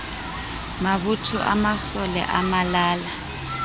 mabotho a masole a malala